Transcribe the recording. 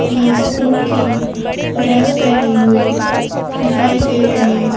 ये स्कूल की ड्रेस पहनी हुई दिखाई दे रही--